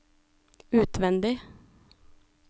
utvendig